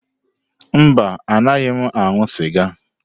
Mba, anaghị m aṅụ sịga.